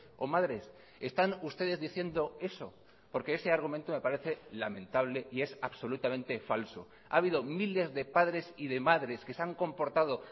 o madres están ustedes diciendo eso porque ese argumento me parece lamentable y es absolutamente falso ha habido miles de padres y de madres que se han comportado